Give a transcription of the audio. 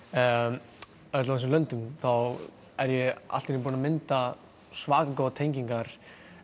hjá öllum þessum löndum þá er ég allt í einu búinn að mynda svaka góðar tengingar